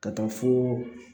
Ka taa fo